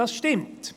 Das stimmt.